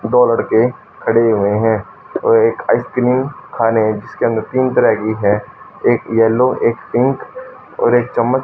दो लड़के खड़े हुए हैं और एक आइस क्रीम खाने इसके अंदर तीन तरह की है एक येलो एक पिंक और एक चम्मच--